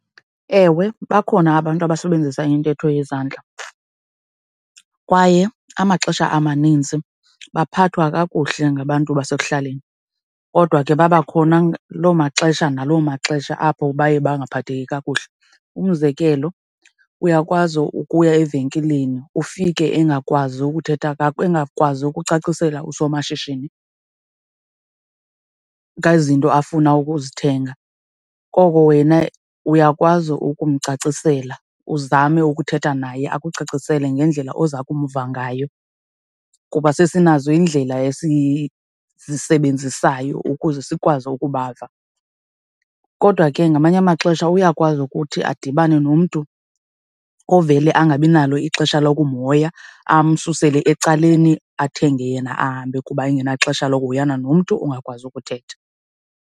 Ewe, bakhona abantu abasebenzisa intetho yezandla kwaye amaxesha amaninzi baphathwa kakuhle ngabantu basekuhlaleni kodwa ke babakhona lo maxesha nalo maxesha apho baye baphatheki kakuhle. Umzekelo, uyakwazi ukuya evenkileni ufike engakwazi ukuthetha, engakwazi ukucacisela oosomashishini ngezinto afuna ukuzithenga, koko wena uyakwazi ukumcacisela, uzame ukuthetha naye akucacisele ngendlela oza kumva ngayo kuba sezinazo indlela esizisebenzisayo ukuze sikwazi ukubava. Kodwa ke ngamanye amaxesha uyakwazi ukuthi adibane nomntu ovele angabi nalo ixesha lokumhoya amsusele ecaleni, athenge yena ahambe kuba engenaxesha lokuhoyana nomntu ongakwazi ukuthetha.